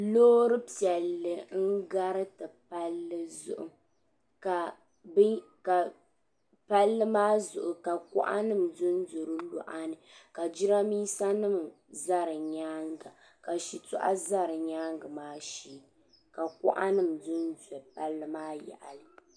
Loori piɛlli n-gariti palli zuɣu ka kuɣa dondo palli maa luɣa ni ka jidambiisanima za di nyaaŋga ka shitɔɣu za di nyaaŋga maa shee ka kuɣa dondo palli maa yaɣili.